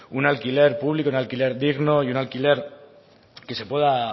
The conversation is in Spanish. un alquiler público un alquiler digno y un alquiler que se pueda